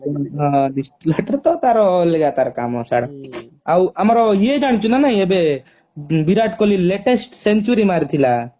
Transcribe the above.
distil water ତ ତାର ଅଲଗା ତାର କାମ ଛାଡ ଆଉ ଆମର ୟେ ଜାଣିଛୁ ନା ନାହିଁ ଏବେ ବିରାଟ କୋହଲୀ latest century ମାରିଥିଲା